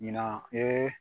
Ɲinan